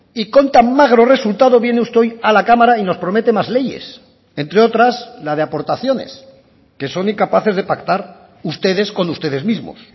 y con tan magro resultado viene usted hoy a la cámara y nos promete más leyes entre otras la de aportaciones que son incapaces de pactar ustedes con ustedes mismos